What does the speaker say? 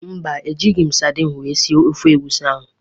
Mba, ejighị m sadin wee sie ofe egwusi ahụ